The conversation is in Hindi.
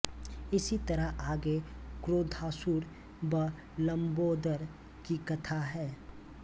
इसी तरह आगे क्रोधासुर व लम्बोदर की कथा है